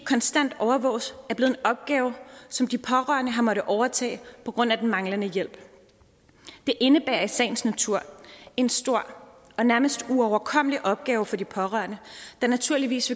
konstant overvåges er blevet en opgave som de pårørende har måttet overtage på grund af den manglende hjælp det indebærer i sagens natur en stor og nærmest uoverkommelig opgave for de pårørende der naturligvis